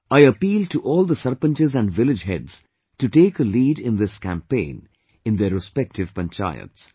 I appeal to all the Sarpanchs and village heads to take a lead in this campaign in their respective Panchayats